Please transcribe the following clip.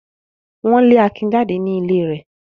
Wọ́n le Akin jáde ní ilé rẹ̀.